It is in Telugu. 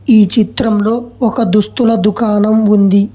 ఈ చిత్రంలో ఒక దుస్తుల దుకాణం ఉంది.